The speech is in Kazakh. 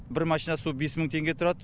бір машина су бес мың теңге тұрады